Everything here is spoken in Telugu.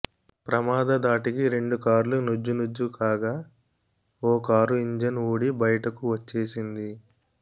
ప్రమాద ధాటికి రెండు కార్లు నుజ్జునుజ్జు కాగా ఓ కారు ఇంజన్ ఊడి బయటకు వచ్చేసింది